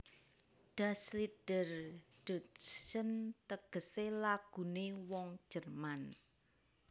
Das Lied der Deutschen tegesé Laguné wong Jerman